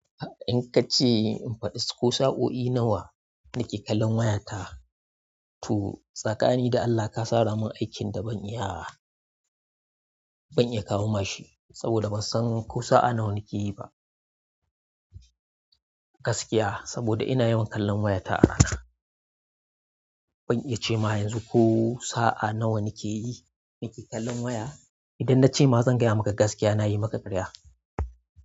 In kace in faɗi ko sa'o'i nawa nake kallon wayata, to tsakani da Allah ka saramin aikin da ban iya, ban iya kawo mashi saboda bansan ko sa'a nawa nake yiba. Gaskiya saboda ina yawan kallon waya ta a rana. Ban iya cema yanzu ko sa'a nawa nake yi, nake kallon waya. Idan nace ma zan gaya maka gaskiya nayi maka ƙarya.